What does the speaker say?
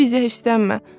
sən bizə hirslənmə.